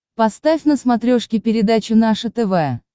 поставь на смотрешке передачу наше тв